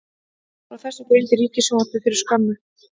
Frá þessu greindi Ríkissjónvarpið fyrir skömmu